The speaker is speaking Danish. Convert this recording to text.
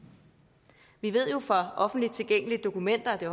vi ved jo fra offentligt tilgængelige dokumenter og det